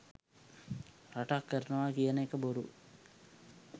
රටක් කරනවා කියන එක බොරු.